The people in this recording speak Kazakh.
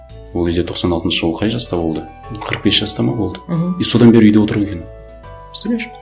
ол кезде тоқсан алтыншы жылы ол қай жаста болды қырық бес жаста ма болды мхм и содан бері үйде отыр екен представляешь